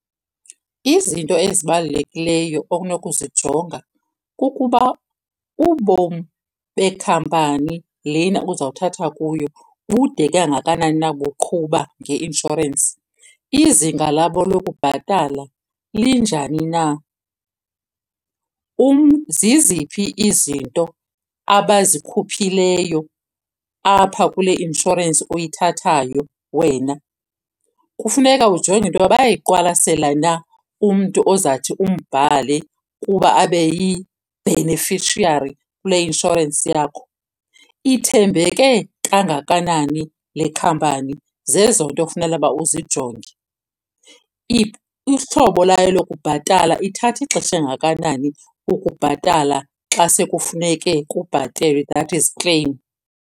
Izinto ezibalulekileyo okunokuzijonga kukuba ubomi bekhampani lena uzawuthatha kuyo bude kangakanani na buqhuba ngeinshorensi. Izinga labo lokubhatala linjani na. Ziziphi izinto abazikhuphileyo apha kule inshorensi uyithathayo wena. Kufuneka ujonge into yoba bayayiqwalasela na umntu ozathi umbhale kuba abe yi-beneficiary kule inshorensi yakho. Ithembeke kangakanani le khampani. Zezo nto ekufuneke uba uzijonge. Ihlobo layo lokubhatala ithatha ixesha elingakanani ukubhatala xa sekufuneke kubhatalwe, that is claim.